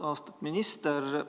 Austatud minister!